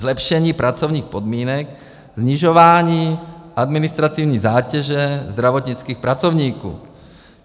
Zlepšení pracovních podmínek, snižování administrativní zátěže zdravotnických pracovníků.